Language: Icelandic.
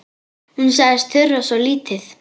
Hún sagðist þurfa svo lítið.